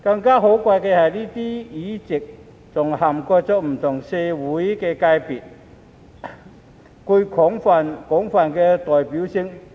更可貴的是，這些議席還涵蓋不同的社會界別，具廣泛代表性。